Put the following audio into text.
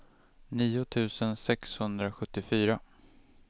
nio tusen sexhundrasjuttiofyra